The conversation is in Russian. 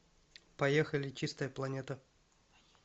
поехали чистая планета